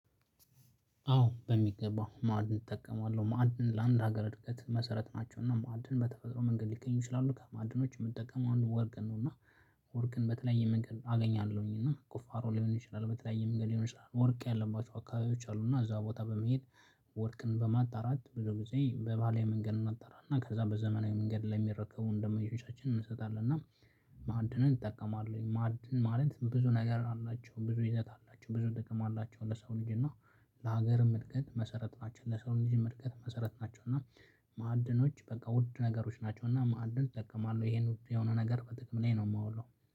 አዎ በሚገባ ማዕድን እጠቀማለሁ። ማዕድን ለአንድ ሀገር እድገት መሰረት ናቸው፤ እና ማዕድን በተፈጥሮ መንገድ ሊገኙ ይችላሉ። ከማዕድኖች የምጠቀመው አንዱ ወርቅን ነው፤ እና ወርቅን በተለያየ መንገድ አገኛለሁኝ እና ቁፋሮ ሊሆን ይችላል በተለያየ መንገድ ይሆን ይችላል ወርቅ ያለባቸው አካባቢዎች አሉ እና እዛ ቦታ በመሄድ ወርቅን በማጣራት ብዙ ጊዜ በባህላዊ መንገድ እናጣራና ከዛ በዘመናዊ መንገድ ለሚረከቡን ደንበኞቻች እንሸጣለን እና ማዕድንን እጠቀማለሁኝ። ማዕድን ማለት ብዙ ነገር አላቸው፣ ብዙ ይዘት አላቸው፣ ብዙ ደግሞ አላቸው ለሰው ልጅ፤ እና ለሀገርም እድገት መሰረት ናቸው ለሰውም ልጅ እድገት መሰረት ናቸው፤ እና ማዕድኖች በቃ ውድ ነገሮች ናቸው እና ማዕድን እጠቀማለሁ ይሄን ውድ የሆነ ነገር በጥቅም ላይ ነው የማውለው።